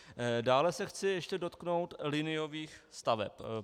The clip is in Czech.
Dále se chci ještě dotknout liniových staveb.